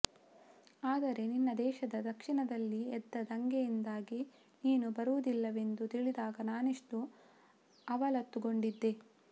ಆದರೆ ನಿನ್ನ ದೇಶದ ದಕ್ಷಿಣದಲ್ಲಿ ಎದ್ದ ದಂಗೆಯಿಂದಾಗಿ ನೀನು ಬರುವುದಿಲ್ಲವೆಂದು ತಿಳಿದಾಗ ನಾನೆಷ್ಟು ಅವಲತ್ತುಕೊಂಡಿದ್ದೆ